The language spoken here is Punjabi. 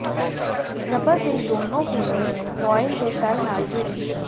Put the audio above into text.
ਰਬੜ ਦੇ ਦੋਨੋ ਕੋਨੇ ਕੁਆਇਲ ਦੇ ਤਲ ਨਾਲ ਜੁੜੇ